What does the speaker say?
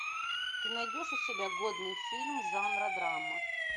ты найдешь у себя годный фильм жанра драма